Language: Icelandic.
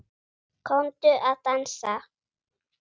Komdu að dansa